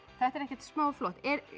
þetta er ekkert smá flott